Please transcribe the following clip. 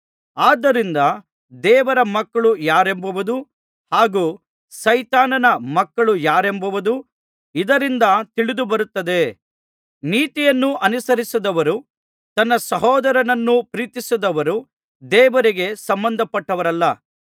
ಆದ್ದರಿಂದ ದೇವರ ಮಕ್ಕಳು ಯಾರೆಂಬುದು ಹಾಗೂ ಸೈತಾನನ ಮಕ್ಕಳು ಯಾರೆಂಬುದು ಇದರಿಂದ ತಿಳಿದುಬರುತ್ತದೆ ನೀತಿಯನ್ನು ಅನುಸರಿಸದವರೂ ತನ್ನ ಸಹೋದರನನ್ನು ಪ್ರೀತಿಸದವರೂ ದೇವರಿಗೆ ಸಂಬಂಧಪಟ್ಟವರಲ್ಲ